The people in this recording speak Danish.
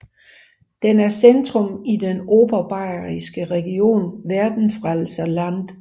Den er centrum i den Oberbayerske region Werdenfelser Land